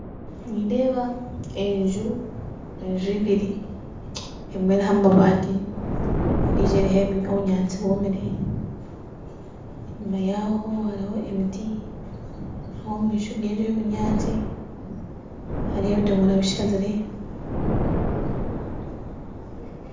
Nindeeba enju, enju ibiri, emwe eriho amabati endiijo eriho obunyaatsi bwomire, enyima yaho hariho emitti aho omumaisho g'enju eyo obunyaatsi hariho ebidomora bishazire